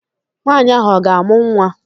Nwaanyị ahụ ọ ga-amụ nwa?